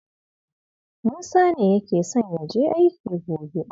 Musa ne yake son ya je aiki gobe.